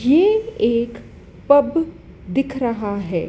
यह एक पब दिख रहा है।